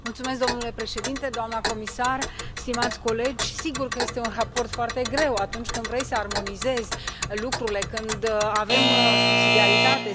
Domnule președinte, doamna comisar, stimați colegi, sigur că este un raport foarte greu atunci când vrei să armonizezi lucrurile, când avem subsidiaritate.